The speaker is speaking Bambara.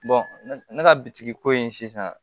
ne ka bitigi ko in sisan